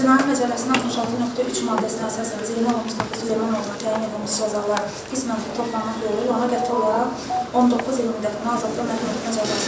Cinayət Məcəlləsinin 66.3 maddəsinə əsasən Zeynalov Mustafa Süleyman oğluna təyin edilmiş cəzalar qismən toplanmaq yolu ilə ona qəti olaraq 19 il müddətinə azadlıqdan məhrum etmə cəzası təyin edilsin.